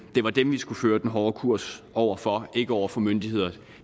var dem vi skulle føre den hårde kurs over for ikke over for myndigheder